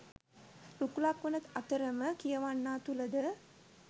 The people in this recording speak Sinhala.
රුකුලක් වන අතරම කියවන්නා තුළද